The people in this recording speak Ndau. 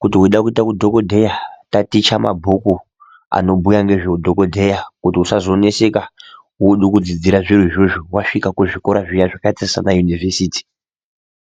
kuti veida kuita hudhogodheya taticha mabhuku. Anobhuya nezveudhogodheya kuti usazonetseka voda kudzidzira zviro izvozvo vasvika kuzvikora zviya zvakaita sana univhesiti.